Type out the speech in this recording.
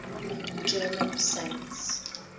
german saints